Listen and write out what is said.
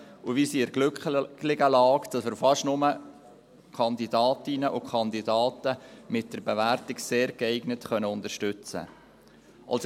Wir sind in der glücklichen Lage, dass wir fast nur Kandidatinnen und Kandidaten mit der Bewertung «sehr geeignet» unterstützen können.